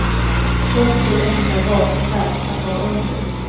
Och så enkla basplagg att ha under.